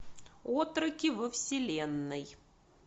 отроки во вселенной